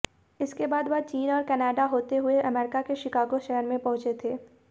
इसके बाद वह चीन और कनाडा होते हुए अमेरिका के शिकागो शहर में पहुंचे थे